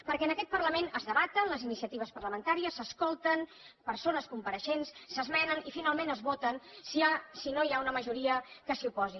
perquè en aquest parlament es debaten les iniciatives parlamentàries s’escolten persones compareixents s’esmenen i finalment es voten si no hi ha una majoria que s’hi oposi